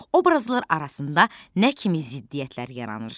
Obrazlar arasında nə kimi ziddiyyətlər yaranır?